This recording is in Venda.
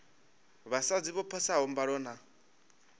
vhasadzi vho phasaho mbalo na